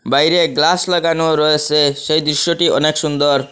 বাইরে গ্লাস লাগানো রয়েসে সেই দৃশ্যটি অনেক সুন্দর।